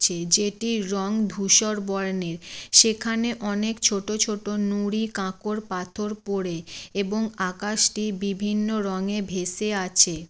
সে যেটির রঙ ধূসর বর্ণের । সেখানে অনেক ছোট ছোট নুড়ি কাঁকর পাথর পড়ে এবং আকাশ টি বিভিন্ন রঙে ভেসে আছে।